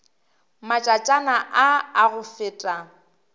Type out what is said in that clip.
matšatšana a a go feta